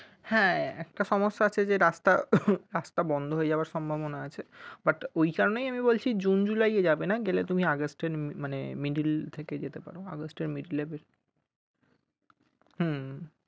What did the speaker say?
হ্যাঁ একটা সমস্যা আছে যে রাস্তা রাস্তা বন্ধ হওয়ার সম্ভাবনা আছে but ওই কারণেই আমি বলছি june july গেলে তুমি august এর middle এর দিকে যেতে পারো।